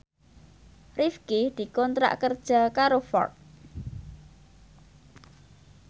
Rifqi dikontrak kerja karo Ford